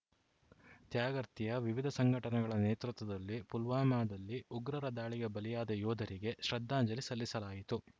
ತ್ಯಾಗರ್ತಿಯ ವಿವಿಧ ಸಂಘಟನೆಗಳ ನೇತೃತ್ವದಲ್ಲಿ ಪುಲ್ವಾಮಾದಲ್ಲಿ ಉಗ್ರರ ದಾಳಿಗೆ ಬಲಿಯಾದ ಯೋಧರಿಗೆ ಶ್ರದ್ಧಾಂಜಲಿ ಸಲ್ಲಿಸಲಾಯಿತು